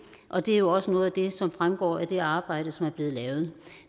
og det er jo også noget af det som fremgår af det arbejde som er blevet lavet